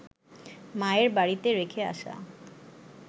মায়ের বাড়িতে রেখে আসা